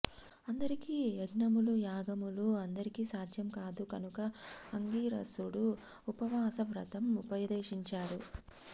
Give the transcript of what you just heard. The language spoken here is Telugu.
అందరికీ యజ్ఞములు యాగములు అందరికీ సాధ్యం కాదు కనుక అంగీరసుడు ఉపవాస వ్రతం ఉపదేశించాడు